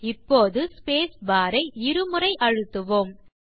இப்போது ஸ்பேஸ்பார் ஐ இரு முறை அழுத்துவோம்